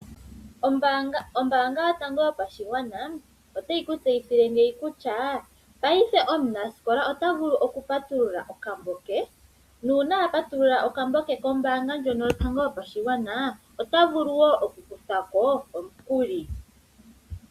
Ombaanga yotango yopashigwana otayi kutseyithile ngeyi kutya ngaashingeyi omunasikola ota vulu okupatulula okambo ke. Nuuna a patulula okambo ke kombaanga ndjono yotango yopashigwana ota vulu wo okukutha ko omukuli.